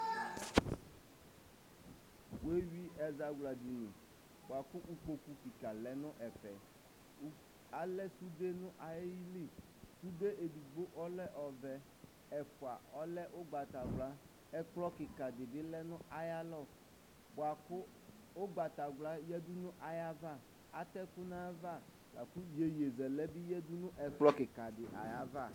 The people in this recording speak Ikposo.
wewɩ ɛzawladɩnɩ buakʊ ɩƙpokpʊ ƙɩka lɛnʊ ɛfɛ alɛ sʊde nʊ ayɩlɩ sʊde edigbo ɔlɛ ɔvɛ, ɛfua ɔlɛ ʊgbata wla, ɛƙƥlɔ ƙɩƙa dɩɓɩ lɛnʊ aƴalɔ ɓua ƙʊ ʊgbata wla yaɖʊnʊ aƴaʋa atɛƙʊ naƴaʋa laƙʊ ƴeƴe zɛlɛ bɩ ƴaɖʊnʊ ɛƙƥlɔ ƙɩka ɖɩ ayava